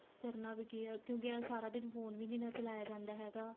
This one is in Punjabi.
ਕਰਨਾ ਵੀ ਕੀ ਏ ਕਿਉਂਕਿ ਏ ਸਾਰਾ ਦਿਨ phone ਵੀ ਨੀਂ ਨਾ ਚਲਾਇਆ ਜਾਂਦਾ ਹੈਗਾ